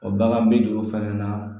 bagan bɛ jɔ o fɛnɛ na